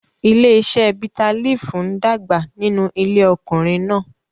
Ilé-iṣẹ́ bitterleaf ń dàgbà nínú ilé ọkùnrin náà.